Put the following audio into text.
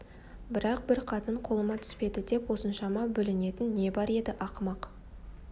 бірақ бір қатын қолыма түспеді деп осыншама бүлінетін не бар еді ақымақ